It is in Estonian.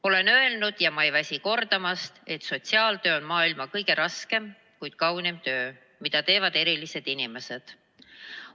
Olen varem öelnud ja ma ei väsi kordamast, et sotsiaaltöö on maailma kõige raskem, kuid kõige kaunim töö, mida teevad erilised inimesed.